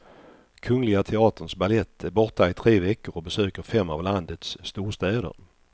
Kungliga teaterns balett är borta i tre veckor och besöker fem av landets storstäder.